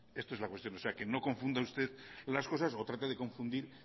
esto es la cuestión o sea que no confunda usted las cosas o trate de confundir